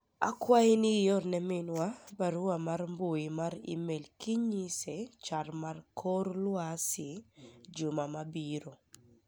akwayi ni iorne minwa barua mar mbui mar email kinyise chal mar kor lwasi juma mabiro